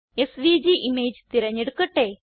SVG image തിരഞ്ഞെടുക്കട്ടെ